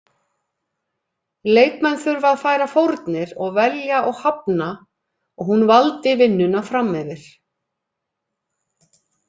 Leikmenn þurfa að færa fórnir og velja og hafna og hún valdi vinnuna framyfir.